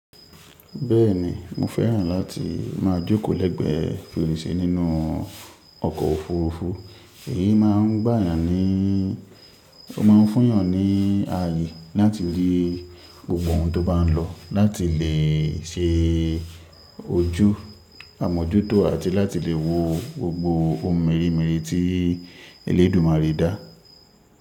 Bẹ́ẹ̀ni, mo fẹ́ràn láti máa jókòó lẹ́gbẹ̀ẹ́ fèrèsé nínú ọkọ̀ òfurufú, èyí máa ń gbàyàn ní, ó ma ń fún'yàn ní ààyè láti rí gbogbo ohun tó bá ń lọ, láti lè ṣe ojú, àmójútó àti láti lè wo gbogbo ohun mèremère tí elédùmarè dá.